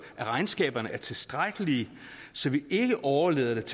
at regnskaberne er tilstrækkelige så vi ikke overlader det